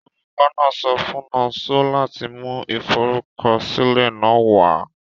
Olukọ náà so fun Nonso lati mu iforukọsilẹ náà wa